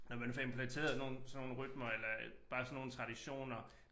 Når man får implementeret nogle sådan nogle rytmer eller bare sådan nogle traditioner